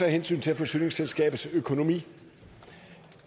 hensyn til forsyningsselskabets økonomi